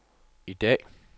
i dag